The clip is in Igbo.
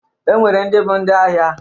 E nwere ndị bụ ndị ahịa